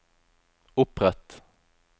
opprett